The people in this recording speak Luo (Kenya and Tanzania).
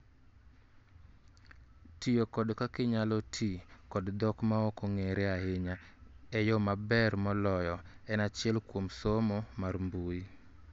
Tiyo kod kaka inyalo ti kod dhok ma ok ong'ere ahinya e yoo maber moloyo en achel kuom somo mar mbuyi